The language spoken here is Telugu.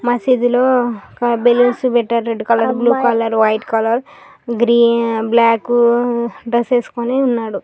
మసీదు లో ఒక బలూన్స్ పెట్టారు red colour blue colour white colour green బ్లాక్-కు-కు డ్రస్ వేసుకుని ఉన్నాడు.